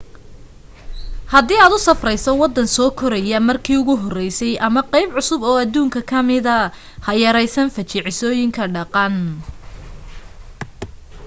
hadii aad u safrayso waddan soo koraya markii ugu horeysay ama qayb cusub oo adduunka ka mida ha yaraysan fajacisooyinka dhaqan